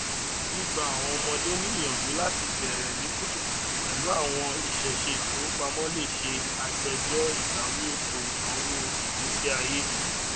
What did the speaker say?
gbigbà àwọn ọmọde ní ìyàǹjú láti bẹrẹ ní kutukutu pẹlú àwọn ìṣèṣe ìfowópamọ lè ṣe àgbéjọ ìbáwí ètò ìnáwó ìgbésíayé